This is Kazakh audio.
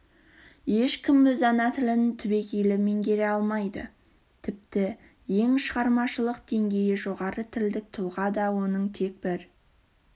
ешкім өз ана тілін түбегейлі меңгере алмайды тіпті ең шығармашылық деңгейі жоғары тілдік тұлға да оның тек бір